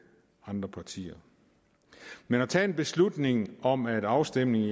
andre partier men at tage en beslutning om at en afstemning i